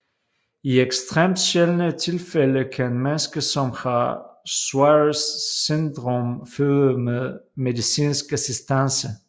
I ekstremt sjældne tilfælde kan mennesker som har Swyers syndrom føde med medicinsk assistance